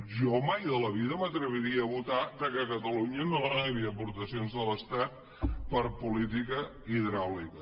jo mai de la vida m’atreviria a votar que catalunya no rebi aportacions de l’estat per a política hidràulica